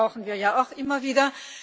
Das brauchen wir ja auch immer wieder.